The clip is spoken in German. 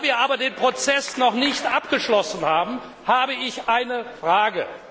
Da wir aber den Prozess noch nicht abgeschlossen haben, habe ich eine Frage.